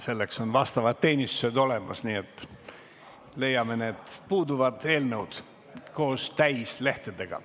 Selleks on vastavad teenistused olemas, nii et me leiame need puuduvad eelnõud koos kõigi lehekülgedega.